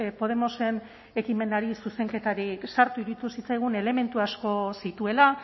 podemosen ekimenari zuzenketarik sartu iruditu zitzaigun elementu asko zituela